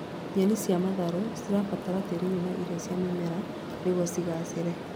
Nyeni cia matharũ cibataraga tĩĩri wĩna irio cia mĩmera nĩguo cigaacĩre